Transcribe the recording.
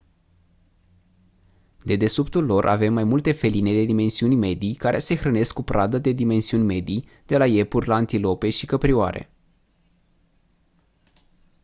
dedesubtul lor avem mai multe feline de dimensiuni medii care se hrănesc cu pradă de dimensiuni medii de la iepuri la antilope și căprioare